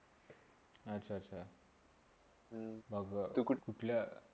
अच्छा -अच्छा! हम्म बघा तू कुठ कुठल्या